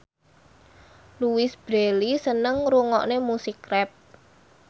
Louise Brealey seneng ngrungokne musik rap